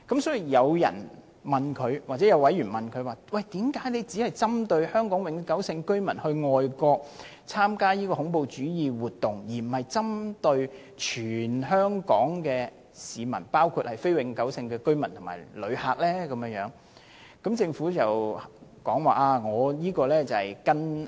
所以，有委員問政府為甚麼只針對香港永久性居民到外國參加恐怖主義活動，而不是針對包括非永久性居民和旅客在內的全香港市民？